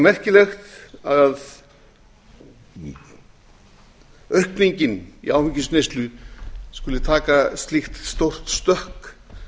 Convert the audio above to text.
líka merkilegt að aukningin í áfengisneyslu skuli taka slíkt stórt stökk